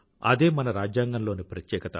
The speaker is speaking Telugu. అదే మన రాజ్యాంగంలోని ప్రత్యేకత